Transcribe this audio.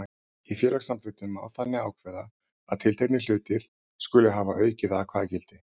Í félagssamþykktum má þannig ákveða að tilteknir hlutir skuli hafa aukið atkvæðagildi.